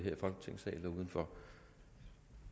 her i folketingssalen og udenfor